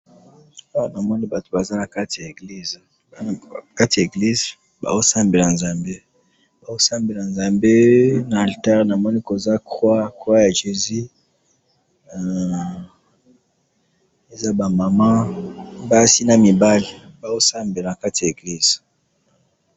awa namoni batu baza nakati ya eglise nakati ya eglise bazo sambela nzambe bazo sambela nzambe na litari koza croix ya jesus ,croix ya jesus nazomona koza ba mama basi naba mibali.